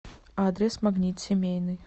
адрес магнит семейный